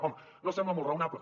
home no sembla molt raonable